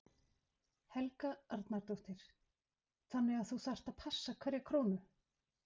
Helga Arnardóttir: Þannig að þú þarft að passa hverja krónu?